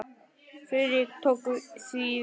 Friðrik tók því vel.